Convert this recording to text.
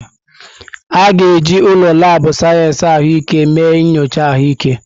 A ga-eji ụlọ laabụ̀ sayensị ahụike mee nyocha ahụike.